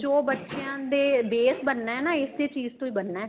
ਜੋ ਬੱਚਿਆ ਦਾ base ਬਣਣਾ ਹੈ ਨਾ ਇਸੇ ਚੀਜ਼ ਤੋਂ ਹੀ ਬਣਨਾ